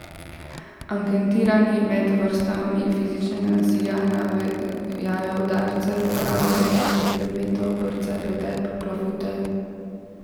Anketirani med vrstami fizičnega nasilja navajajo udarce, uporabo različnih predmetov, brce, pretep, klofute.